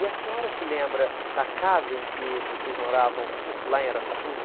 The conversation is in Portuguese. E a senhora se lembra da casa em que vocês moravam lá em Araçatuba?